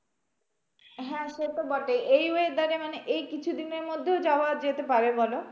হ্যাঁ সেতো বটেই এই weather এ মানে এই কিছুদিনের মধ্যেও যাওয়া যেতে পারে বলো?